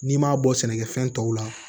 N'i m'a bɔ sɛnɛkɛfɛn tɔw la